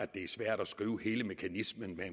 det er svært at skrive hele mekanismen med